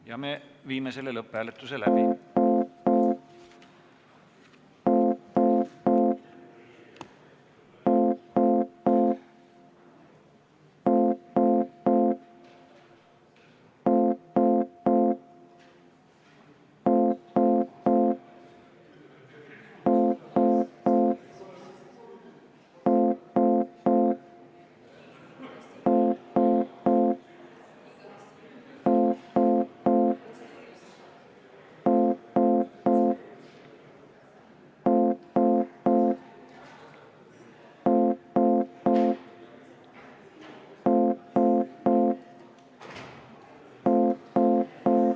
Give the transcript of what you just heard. Ja me viime selle läbi.